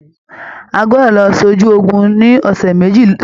À gbọdọ lọ sójú ogun ní ọsẹ méjì sọni!